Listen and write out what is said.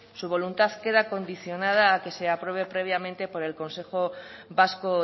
su voluntad queda condicionada a que se apruebe previamente por el consejo vasco